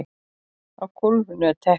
Á gólfinu er teppi.